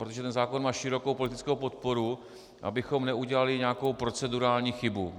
protože ten zákon má širokou politickou podporu, abychom neudělali nějakou procedurální chybu.